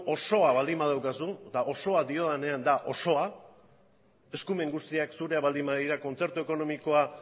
osoa baldin badaukazu eta osoa diodanean da osoa eskumen guztiak zureak baldin badira kontzertu ekonomikoa